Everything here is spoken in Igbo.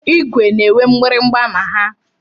Igwe na-enwe mgbịrịgba na ha.